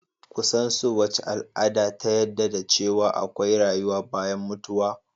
Kusan so wace al'ada ta yadda da ce wa akwai rayuwa bayan mutuwa